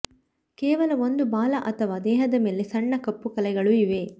ಕೇವಲ ಒಂದು ಬಾಲ ಅಥವಾ ದೇಹದ ಮೇಲೆ ಸಣ್ಣ ಕಪ್ಪು ಕಲೆಗಳು ಇವೆ